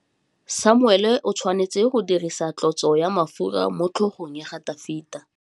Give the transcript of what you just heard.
Samuele o tshwanetse go dirisa tlotsô ya mafura motlhôgong ya Dafita.